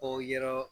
K'o yɛrɛ